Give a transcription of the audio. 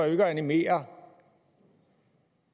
jo ikke at animere